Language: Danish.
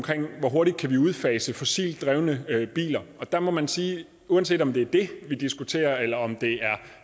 hvor hurtigt vi kan udfase fossildrevne biler og der må man sige at uanset om det er det vi diskuterer eller om det er